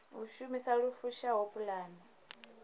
u shumisa lu fushaho pulane